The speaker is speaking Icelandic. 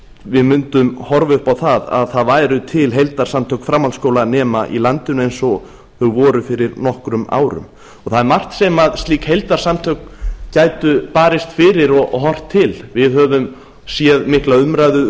við mundum horfa upp á að það væru til heildarsamtök framhaldsskólanema í landinu eins og þau voru fyrir nokkrum árum það er margt sem slík heildarsamtök gætu barist fyrir og horft til við höfum séð mikla umræðu